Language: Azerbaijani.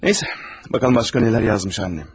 Nəysə, baxaq görək başqa nə yazıb anam.